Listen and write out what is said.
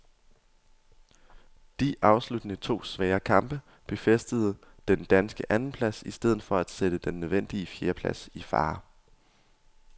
De afsluttende to svære kamp befæstede den danske andenplads i stedet for at sætte den nødvendige fjerdeplads i fare.